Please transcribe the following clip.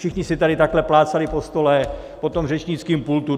Všichni si tady takhle plácali po stole, po tom řečnickém pultu.